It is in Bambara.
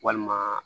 Walima